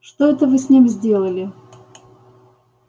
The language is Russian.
что это вы с ним сделали